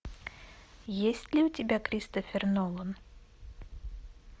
есть ли у тебя кристофер нолан